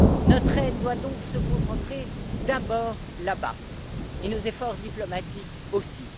Notre aide doit donc se concentrer d'abord là bas, et nos efforts diplomatiques aussi.